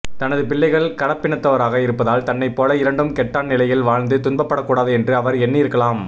தனது பிள்ளைகள் கலப்பினத்தவராக இருப்பதால் தன்னைப் போல இரண்டும் கெட்டான் நிலையில் வாழ்ந்து துன்பப்படக்கூடாது என்று அவர் எண்ணி இருக்கலாம்